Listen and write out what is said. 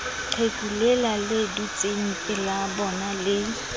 qheku lela le dutsengpelabona le